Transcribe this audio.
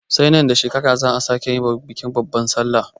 Sai nan da shekara za'a sake bikin babban sallah.